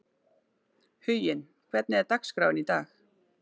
Huginn, hvernig er dagskráin í dag?